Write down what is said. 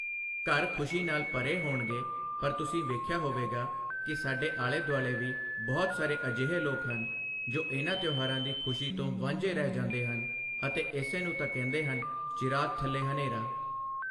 ਘਰ ਖੁਸ਼ੀ ਨਾਲ ਭਰੇ ਹੋਣਗੇ ਪਰ ਤੁਸੀਂ ਵੇਖਿਆ ਹੋਵੇਗਾ ਕਿ ਸਾਡੇ ਆਲੇ ਦੁਆਲੇ ਵੀ ਬਹੁਤ ਸਾਰੇ ਅਜਿਹੇ ਲੋਕ ਹਨ ਜੋ ਇਨ੍ਹਾਂ ਤਿਓਹਾਰਾਂ ਦੀ ਖੁਸ਼ੀ ਤੋਂ ਵਾਂਝੇ ਰਹਿ ਜਾਂਦੇ ਹਨ ਅਤੇ ਇਸੇ ਨੂੰ ਤਾਂ ਕਹਿੰਦੇ ਹਨ ਚਿਰਾਗ ਥੱਲੇ ਹਨ੍ਹੇਰਾ।